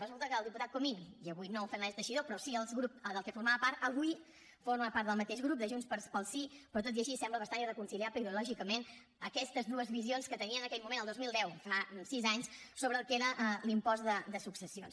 resulta que el diputat comín i avui no el fernández teixidó però sí el seu grup del qual formava part avui forma part del mateix grup de junts pel sí però tot i així semblen bastant irreconciliables ideològicament aquestes dues visions que tenien en aquell moment el dos mil deu fa sis anys sobre el que era l’impost de successions